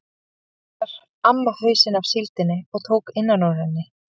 Fyrst skar amma hausinn af síldinni og tók innan úr henni.